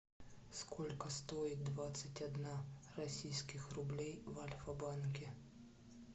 сколько стоит двадцать одна российских рублей в альфа банке